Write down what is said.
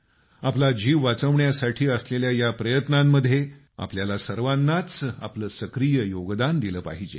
आपला जीव वाचवण्यासाठी असलेल्या या प्रयत्नांमध्ये आपल्याला सर्वांनाच आपलं सक्रिय योगदान दिलं पाहिजे